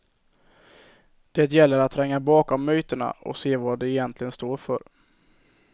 Det gäller att tränga bakom myterna och se vad de egentligen står för.